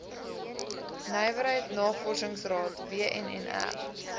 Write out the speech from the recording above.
nywerheid navorsingsraad wnnr